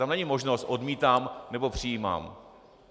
Tam není možnost odmítám nebo přijímám.